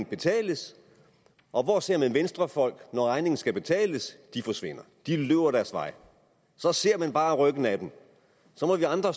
betales og hvor ser man venstrefolk når regningen skal betales de forsvinder de løber deres vej så ser man bare ryggen af dem og så må vi andre